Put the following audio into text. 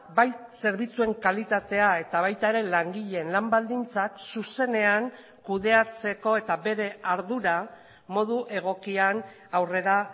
bai zerbitzuen kalitatea eta baita ere langileen lan baldintzak zuzenean kudeatzeko eta bere ardura modu egokian aurrera